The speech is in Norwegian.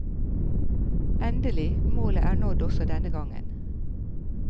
Endelig, målet er nådd også denne gangen.